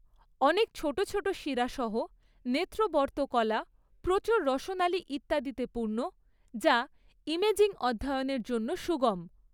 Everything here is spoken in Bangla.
অনেক ছোট ছোট শিরা সহ নেত্রবর্ত্মকলা প্রচুর রসনালী ইত্যাদিতে পূর্ণ, যা ইমেজিং অধ্যয়নের জন্য সুগম।